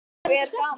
Og er gaman?